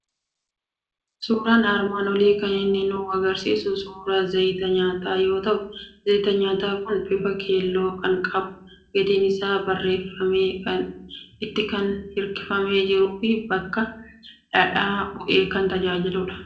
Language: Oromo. Suuraan armaan olii kan inni nu argisiisu suuraa zayita nyaataa yoo ta'u, zayiti nyaataa kun bifa keeloo kan qabu, gatiin isaa barreeffamee itti kan hirkifamee jiruu fi bakka dhadhaa bu'ee kan tajaajiludha.